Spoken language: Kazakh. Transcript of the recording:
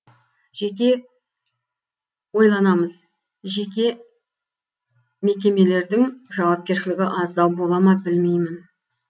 жеке ойланамыз жеке мекемелердің жауапкершілігі аздау бола ма білмеймін